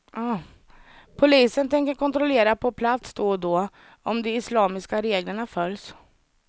Polisen tänker kontrollera på plats då och då om de islamiska reglerna följs.